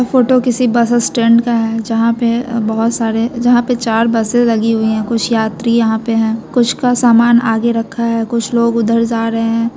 Photo किसी bus stand का है जहाँ पे बहुत सारे जहाँ पे चार बसें लगी हुए हैं कुछ यात्री यहाँ पे हैं कुछ का सामान आगे रखा है कुछ लोग उधर जा रहे हैं।